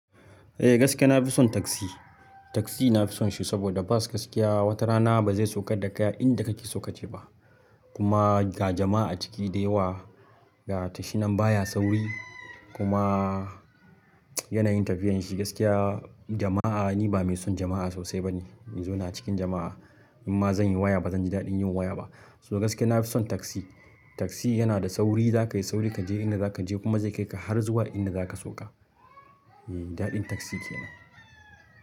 Eh gaskiya na fi son taksi. Taksi na fi son shi saboda bus gaskiya wata rana ba zai saukar da kai a inda kake so ka je ba. Kuma ga jama'a ciki da yawa ga tashi nan baya sauri kuma yanayin tafiyan shi. Gaskiya jama'a ni ba mai son jama'a sosai bane. In zauna a cikin jama'a in ma zan yi waya ba zan ki daɗin yin waya ba. So gaskiya nafi son taksi. Taksi yana da sauri za ka yi sauri ka je inda zaka je kuma zai kai ka har zuwa inda zaka sauka. Eh daɗin taksi kenan.